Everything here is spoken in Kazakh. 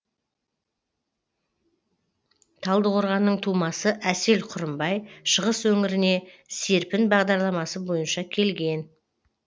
талдықорғанның тумасы әсел құрымбай шығыс өңіріне серпін бағдарламасы бойынша келген